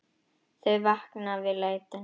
Þau vakna við lætin.